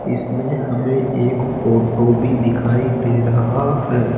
इसमें हमें एक ऑटो भी दिखाई दे रहा हैं।